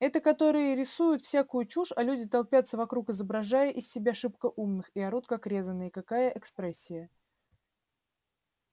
это которые рисуют всякую чушь а люди толпятся вокруг изображая из себя шибко умных и орут как резаные какая экспрессия